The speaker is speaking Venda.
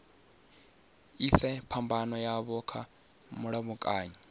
ise phambano yavho kha mulamukanyi